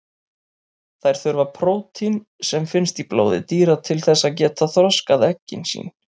Þær þurfa prótín sem finnst í blóði dýra til þess að geta þroskað eggin sín.